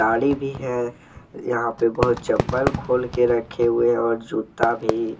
गाड़ी भी हैं यहां पे बहुत चप्पल खोल के रखे हुए हैं और जूता भी।